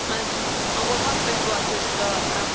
Am votat pentru acest raport.